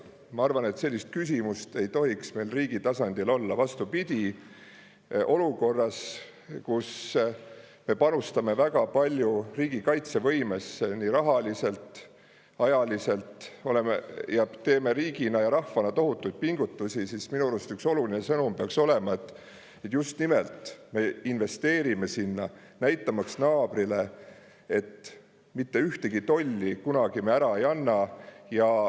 Ma arvan, et sellist küsimust ei tohiks meil riigi tasandil olla, vastupidi, olukorras, kus me panustame väga palju riigikaitsevõimesse nii rahaliselt, ajaliselt, oleme ja teeme riigina ja rahvana tohutuid pingutusi, siis minu arust üks oluline sõnum peaks olema, et just nimelt me investeerime sinna, näitamaks naabrile, et mitte ühtegi tolli kunagi me ära ei anna.